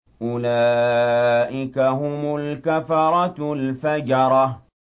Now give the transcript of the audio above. أُولَٰئِكَ هُمُ الْكَفَرَةُ الْفَجَرَةُ